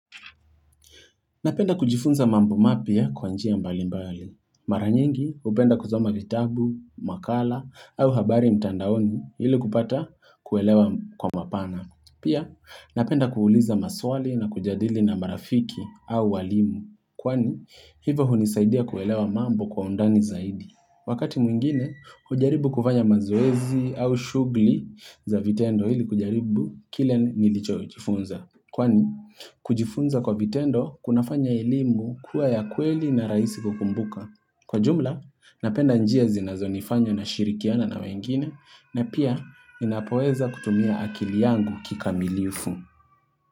Napenda kujifunza mambo mapya kwa njia mbalimbali. Maranyingi upenda kusoma vitabu, makala au habari mtandaoni ili kupata kuelewa kwa mapana. Pia napenda kuuliza maswali na kujadili na marafiki au walimu. Kwani hivo hunisaidia kuelewa mambo kwa undani zaidi. Wakati mwingine, hujaribu kufanya mazoezi au shuguli za vitendo ili kujaribu kile nilicho jifunza. Kwani, kujifunza kwa vitendo kunafanya elimu kuwa ya kweli na raisi kukumbuka. Kwa jumla, napenda njia zinazo nifanya na shirikiana na wengine na pia inapoweza kutumia akili yangu kikamilifu.